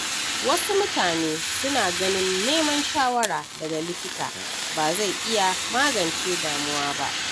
Wasu mutane suna ganin neman shawara daga likita ba zai iya magance damuwa ba.